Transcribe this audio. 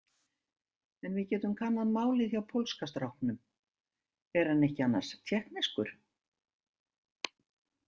En við getum kannað málið hjá pólska stráknum, er hann ekki annars tékkneskur?